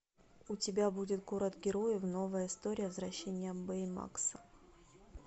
у тебя будет город героев новая история возвращение бэймакса